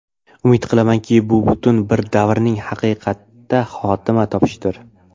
Umid qilamanki, bu butun bir davrning haqiqatda xotima topishidir.